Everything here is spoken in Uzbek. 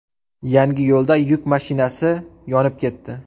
Yangiyo‘lda yuk mashinasi yonib ketdi.